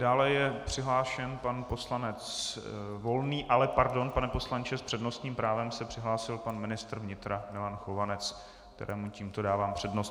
Dále je přihlášen pan poslanec Volný - ale pardon, pane poslanče, s přednostním právem se přihlásil pan ministr vnitra Milan Chovanec, kterému tímto dávám přednost.